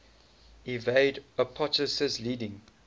evade apoptosis leading